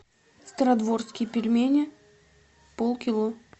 стародворские пельмени полкило